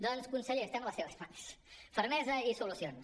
doncs conseller estem a les seves mans fermesa i solucions